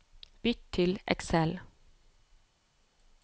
Bytt til Excel